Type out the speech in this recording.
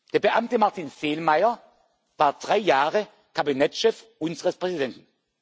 vorgesehen. Der Beamte Martin Selmayr war drei Jahre Kabinettschef unseres